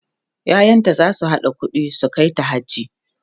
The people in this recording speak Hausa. ƴaƴanta zasu haɗa ƙuɗi su kaita haji